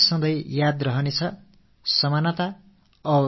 என் மனதில் இந்த நினைவலைகள் காலாகாலத்திற்கும் பொதிந்திருக்கும்